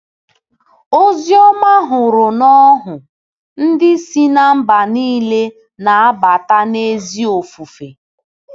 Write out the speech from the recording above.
Ozioma hụrụ n’ọhụụ ndị si n’mba nile na-abata n’ezi ofufe.